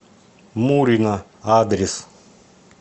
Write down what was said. мурино адрес